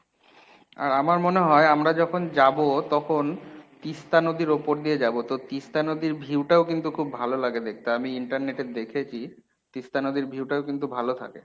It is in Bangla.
আর আমার মনে হয় আমরা যখন যাব তখন তিস্তা নদীর ওপর দিয়ে যাব। তো তিস্তা নদীর view টাও কিন্তু খুব ভালো লাগে দেখতে। আমি internet এ দেখেছি তিস্তা নদীর view টাও কিন্তু ভালো থাকে।